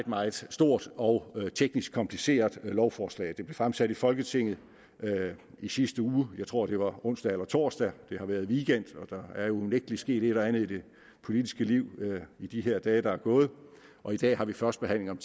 meget stort og teknisk kompliceret lovforslag det blev fremsat i folketinget i sidste uge jeg tror at det var onsdag eller torsdag det har været weekend og der er jo unægtelig sket et og andet i det politiske liv i de her dage der er gået og i dag har vi første behandling